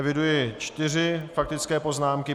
Eviduji čtyři faktické poznámky.